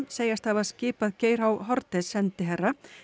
segjast hafa skipað Geir h Haarde sendiherra